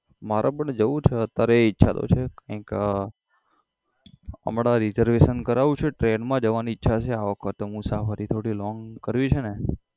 મારે પણ જઉં છે અતારે ઈચ્છા તો છે કઈક હમણાં reservation કરાવું છું train માં જવાની ઈચ્છા છે આ વખત મુસાફરી થોડી long કરવી છે ને